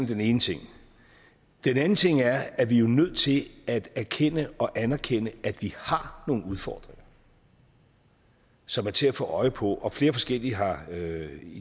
den ene ting den anden ting er at vi jo er nødt til at erkende og anerkende at vi har nogle udfordringer som er til at få øje på og flere forskellige har